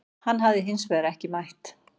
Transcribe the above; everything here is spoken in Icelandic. Hann hafi hins vegar ekki mætt